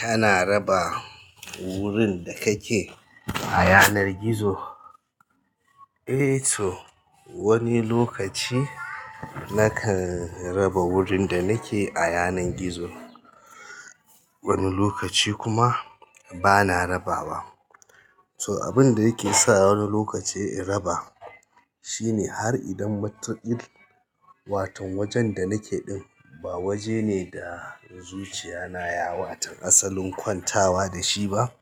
Kana raba wurin da kake a yanar gizo? Eh to wani lokaci nakan raba wurin da nake a yanar gizo, wani lokaci kuma bana raba wa. So abin da yake sa wani lokaci in raba shine har idan matukil wato wajen da nake ɗin ba waje ne da zuciya na ya wato asalin kwantawa da shi ba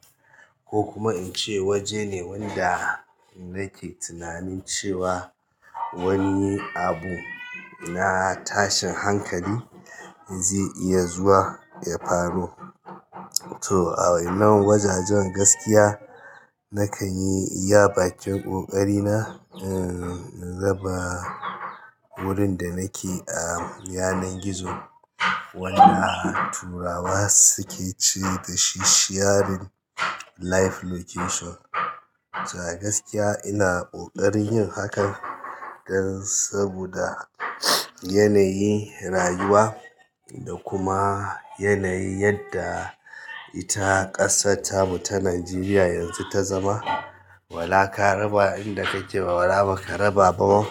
ko kuma in ce waje ne wanda nake tunanin cewa wani abu na tashin hankali zai iya zuwa ya faru. So a nan wajajen gaskiya nakan yi iya bakin ƙoƙarina eh in raba wurin da nake a yanar gizo wanda turawa suke ce dashi sharing live location to a gaskiya ina ƙoƙarin yin hakan dan saboda yanayi rayuwa da kuma yanayi yadda ita ƙasar tamu ta Najeriya yanzu ta zama. Wala ka raba a inda kake wala ba ka raba ba.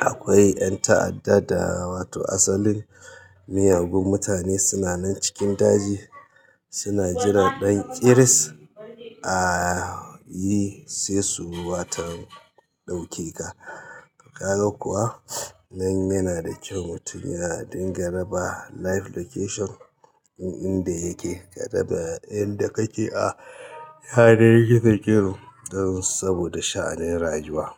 Akwai ƴan ta'adda da wato asalin miyagun mutane sunanan cikin daji suna jira ɗan ƙiris ah yi sai su waton ɗaukeka. Ka ga kuwa? Nan yana da kyau mutum ya dinga raba live location ɗin inda yake, ka raba inda kake a yanar gizo gizo dan saboda sha'anin rayuwa.